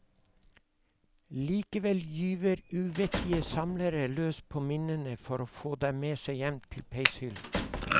Likevel gyver uvettige samlere løs på minnene for å få dem med seg hjem til peishyllen.